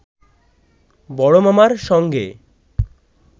বড় মামার সঙ্গে